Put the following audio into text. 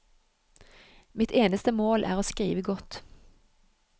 Mitt eneste mål er å skrive godt.